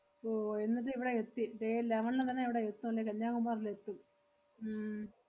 ഓ എന്നട്ടിവടെ എത്തി day eleven ന് തന്നെ ഇവടെ എത്തും ~ല്ലേ കന്യാകുമാരിലെത്തും ഉം